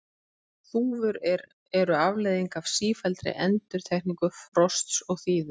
Þúfur eru afleiðing af sífelldri endurtekningu frosts og þíðu.